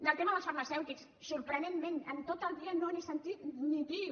del tema dels farmacèutics sorprenentment en tot el dia no n’he sentit ni piu